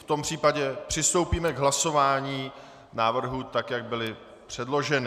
V tom případě přistoupíme k hlasování návrhů tak, jak byly předloženy.